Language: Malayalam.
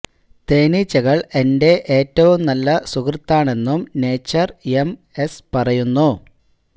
തേനീച്ചകള് എന്റെ ഏറ്റവും നല്ല സുഹൃത്താണെന്നും നേച്ചര് എം എസ് പറയുന്നു